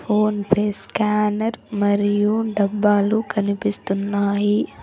Phone pay scanner మరియు డబ్బాలు కనిపిస్తున్నాయి.